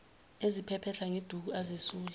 eziphephetha ngeduku azesula